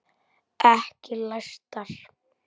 Ekki læstar.